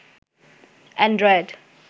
Android